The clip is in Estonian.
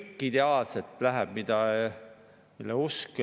Eesti Vabariigis saab üle 70% elanikkonnast alla Eesti keskmist.